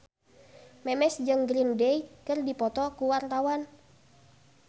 Memes jeung Green Day keur dipoto ku wartawan